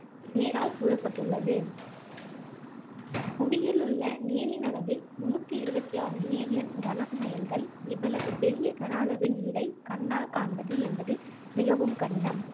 நீரால் சூழப்பட்டுள்ளது புவியிலுள்ள நீரின் அளவு முந்நூத்தி இருபத்து ஆறு மில்லியன் கன மைல்கள் இவ்வளவு பெரிய கன அளவு நீரை கண்ணால் காண்பது என்பது மிகவும் கடினம்